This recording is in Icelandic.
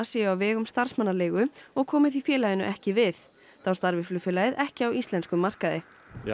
séu á vegum starfsmannaleigu og komi því félaginu ekki við þá starfi flugfélagið ekki á íslenskum markaði